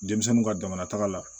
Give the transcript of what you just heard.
Denmisɛnninw ka jamanataga la